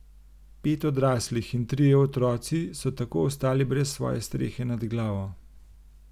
Pet odraslih in trije otroci so tako ostali brez svoje strehe nad glavo.